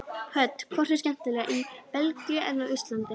Hödd: Hvort er skemmtilegra í Belgíu en á Íslandi?